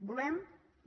volem